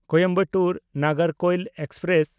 Coimbatore Nagercoil express